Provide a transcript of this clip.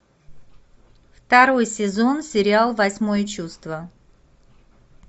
второй сезон сериал восьмое чувство